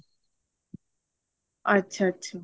ਅੱਛਾ ਅੱਛਾ